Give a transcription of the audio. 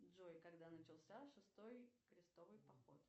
джой когда начался шестой крестовый поход